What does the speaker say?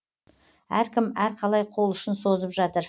әркім әрқалай қол ұшын созып жатыр